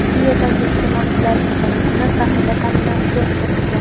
u yerdagi iste’molchilarning bir qismi zaxira ta’minotiga o‘tkazilgan.